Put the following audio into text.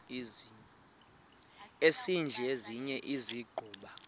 esidl eziny iziguqa